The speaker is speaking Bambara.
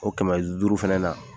O kɛmɛ duuru fɛnɛ na